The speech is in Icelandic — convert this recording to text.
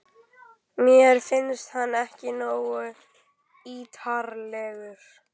Mér fannst hann ekki nógu ítarlegur.